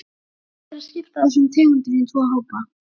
Hægt er að skipta þessum tegundum í tvo hópa.